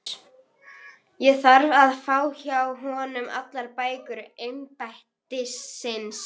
LÁRUS: Ég þarf að fá hjá honum allar bækur embættisins.